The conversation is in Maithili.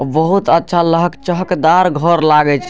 बहुत अच्छा लहक चहकदार घर लागईछे।